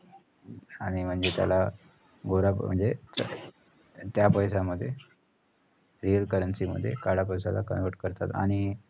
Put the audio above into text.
आणि म्हणजे त्याला गोरा म्हणजे त्या पैशामध्ये currency मध्ये काळा पैशाला convert करतात आणि